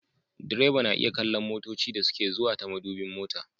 Direba na iya kallon motoci da suke zuwa ta madubin mota